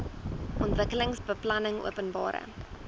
ontwikkelingsbeplanningopenbare